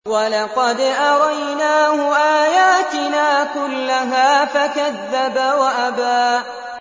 وَلَقَدْ أَرَيْنَاهُ آيَاتِنَا كُلَّهَا فَكَذَّبَ وَأَبَىٰ